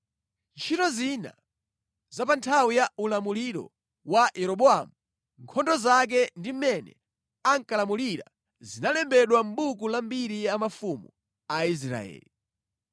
Ntchito zina pa nthawi ya ulamuliro wa Yeroboamu, nkhondo zake ndi mmene ankalamulirira zinalembedwa mʼbuku la mbiri ya mafumu a Israeli.